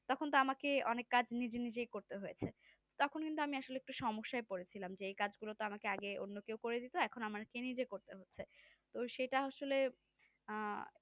তখন তো আমাকে অনেক কাজ নিজে নিজে করতে হয়েছে তখন কিন্তু আমি আসলে একটু সমস্যাই পড়েছিলাম যে এই কাজ গুলো তো আমাকে আগে অন্য কেউ করে দিত এখন আমাকে নিজেকেই করতে হচ্ছে তো সেটা আসলে আহ